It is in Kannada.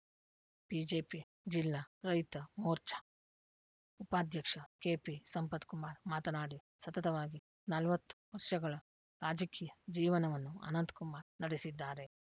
ಬಿಜೆಪಿ ಜಿಲ್ಲಾ ರೈತ ಮೋರ್ಚಾ ಉಪಾಧ್ಯಕ್ಷ ಕೆಪಿಸಂಪತ್‌ಕುಮಾರ್‌ ಮಾತನಾಡಿ ಸತತವಾಗಿ ನಲವತ್ತು ವರ್ಷಗಳ ರಾಜಕೀಯ ಜೀವನವನ್ನು ಅನಂತಕುಮಾರ್‌ ನಡೆಸಿದ್ದಾರೆ